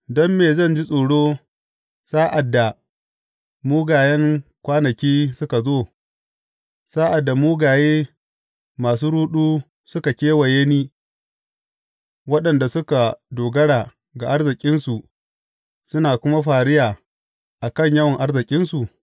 Don me zan ji tsoro sa’ad da mugayen kwanaki suka zo, sa’ad da mugaye masu ruɗu suka kewaye ni, waɗanda suka dogara ga arzikinsu suna kuma fariya a kan yawan arzikinsu?